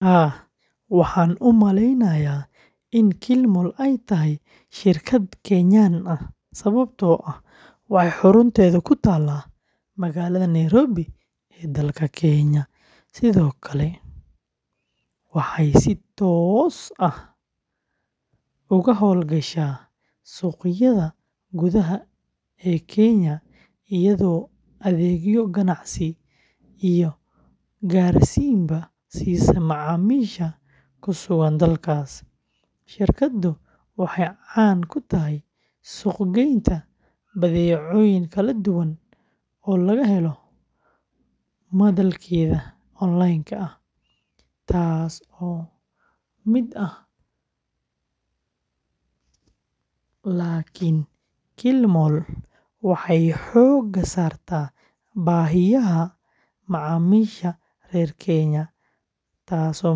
Haa, waxaan u maleynayaa in Kilimall ay tahay shirkad Kenyan ah sababtoo ah waxay xarunteedu ku taallaa magaalada Nairobi ee dalka Kenya, sidoo kalena waxay si toos ah uga hawlgashaa suuqyada gudaha ee Kenya iyadoo adeegyo ganacsi iyo gaarsiinba siisa macaamiisha ku sugan dalkaas. Shirkaddu waxay caan ku tahay suuq-geynta badeecooyin kala duwan oo laga helo madalkeeda online-ka ah, taasoo la mid ah, laakiin waxay xoogga saartaa baahiyaha macaamiisha reer Kenya, taas oo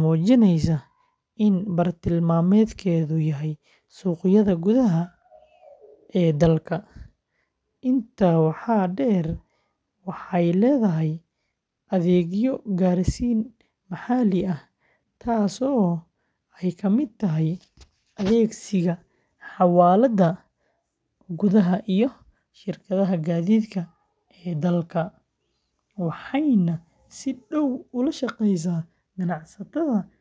muujinaysa in bartilmaameedkeedu yahay suuqyada gudaha ee dalka. Intaa waxaa dheer, waxay leedahay adeegyo gaarsiin maxalli ah, taasoo ay ka mid tahay adeegsiga xawaaladaha gudaha iyo shirkadaha gaadiidka ee dalka, waxayna si dhow ula shaqaysaa ganacsatada yaryar iyo kuwa dhexdhexaadka ah.